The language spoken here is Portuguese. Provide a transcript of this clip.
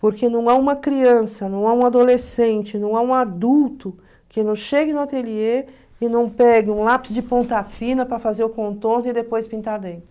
Porque não há uma criança, não há um adolescente, não há um adulto que não chegue no ateliê e não pegue um lápis de ponta fina para fazer o contorno e depois pintar dentro.